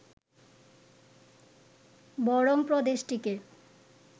বরং প্রদেশটিকে